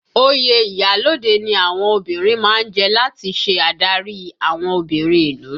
Oyè iyalode ni àwọn obìnrin má ń jẹ láti ṣe adarí àwọn obìnrin ìlú